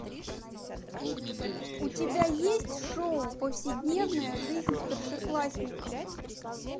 у тебя есть шоу повседневная жизнь старшеклассников